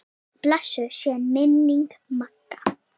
Blessuð sé minning Magga.